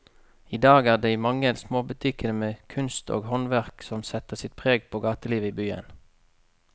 I dag er det de mange små butikkene med kunst og håndverk som setter sitt preg på gatelivet i byen.